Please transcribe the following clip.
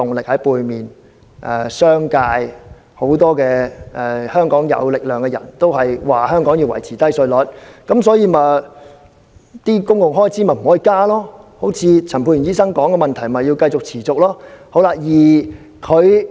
所以，商界、很多有勢力人士都說香港要維持低稅率，不可以增加公共開支，而陳沛然議員提及的問題，就要持續出現。